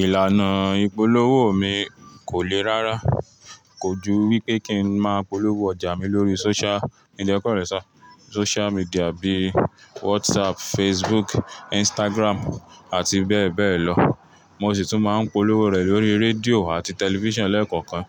Ìlànà ìpolówó mi kò le rá rá, kò ju wípé kí n má polówó ọjà mi lórí social- social media bí WhatsApp, Facebook, Instagram àti bẹ́ẹ̀ bẹ́ẹ̀ lọ. Mo sì tún máa ń polówó rẹ lórí rédíò àti tẹlifíṣàn lẹ́ẹ̀kọ̀kan